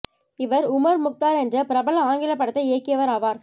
இவர் Omar Mukhtar என்ற பிரபல ஆங்கில படத்தை இயக்கியவர் ஆவார்